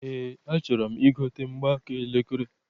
Eé, achọrọ m igote mgbaaka elekere.